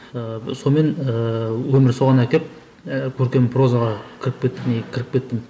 ііі сонымен ііі өмір соған әкеп ііі көркем проза кіріп кеттік не кіріп кеттім